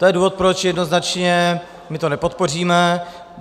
To je důvod, proč jednoznačně my to nepodpoříme.